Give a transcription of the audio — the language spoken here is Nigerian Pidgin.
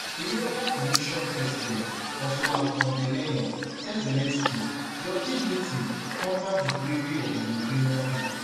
european commission president ursula von der leyen tell zelensky your dignity honour di bravery of di ukrainian pipo